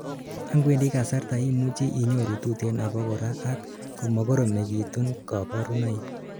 angwendi kasarta imuchi inyoru tuten abakora ak komakoromekitun kaborunoik